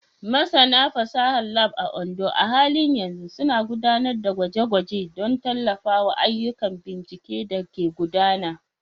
Masana fasahar Lab a Ondo a halin yanzu suna gudanar da gwaje-gwaje don tallafawa ayyukan bincike da ke gudana.